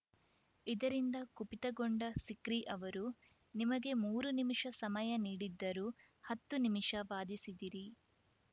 ಇದರಿಂದ ಕುಪಿತಗೊಂಡ ಸಿಕ್ರಿ ಅವರು ನಿಮಗೆ ಮೂರು ನಿಮಿಷ ಸಮಯ ನೀಡಿದ್ದರೂ ಹತ್ತು ನಿಮಿಷ ವಾದಿಸಿದಿರಿ